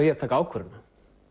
ég að taka ákvörðunina